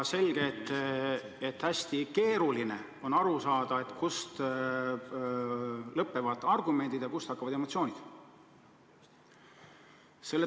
Selge, et hästi keeruline on aru saada, kus lõpevad argumendid ja kust hakkavad emotsioonid.